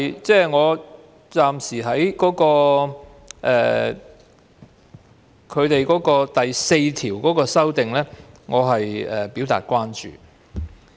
這是我暫時就《條例草案》第4條的修訂表達的關注。